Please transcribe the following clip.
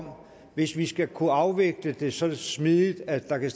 om hvis vi skal kunne afvikle det så smidigt at der kan